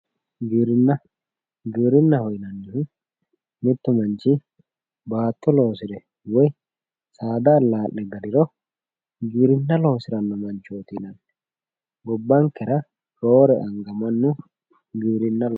giwirinna giwirinnaho yinannihu mittu manchi baatto loosire woyi saada allaa'le galiro giwirinna loosirino manchooti yinanni gobbankera roore anga mannu giwirinna loosiranno